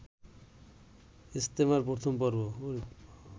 ইজতেমার প্রথম পর্ব